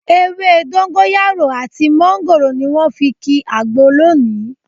Ewé dógóńyárò àti mọ́ńgòrò ni wọ́n fi ki àgbo lónìí